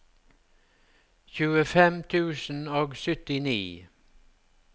tjuefem tusen og syttini